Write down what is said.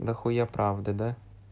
да хуя правды да